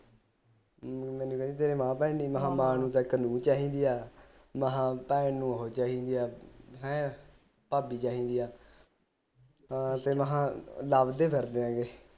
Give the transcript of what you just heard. ਮੈਨੂੰ ਕਹਿੰਦੀ ਤੇਰੇ ਮਾਂ ਭੈਣ ਨੀ ਮੈਂ ਮਾਂ ਨੂੰ ਚਾਹੀਦੀ ਆ ਮਹਿ ਭੈਣ ਨੂੰ ਉਹ ਚਾਹੀਦੀ ਆ ਹੈ ਭਾਬੀ ਚਾਹੀਦੀ ਆ ਹਾਂ ਤੇ ਮਹਿ ਲੱਭਦੇ ਫਿਰਦੇ ਹੈਗੇ